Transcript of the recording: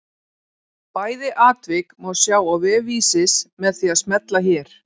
Bæði atvik má sjá á vef Vísis með því að smella hér.